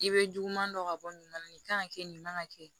I bɛ juguman dɔ ka bɔ nin na nin kan ka kɛ nin kan ka kɛ